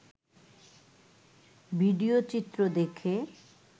video চিত্র দেখে